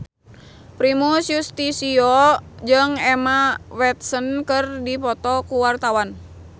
Primus Yustisio jeung Emma Watson keur dipoto ku wartawan